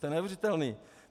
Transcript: To je neuvěřitelné.